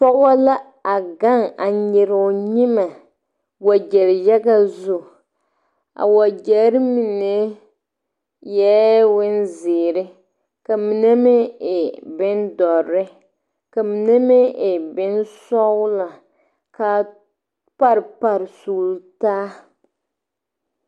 Pɔgɔ la a gang a nyiree ɔ nyimɛ wɔje yaga zu a wɔjeri mene eeii bonziire ka mene meng eei bundɔri ka mene meng eei bɔnsɔglɔ kaa pare pare sugli taa.